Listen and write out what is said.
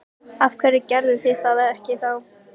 Áttu, er þá viðbúið að niðurstaðan verði sýkna?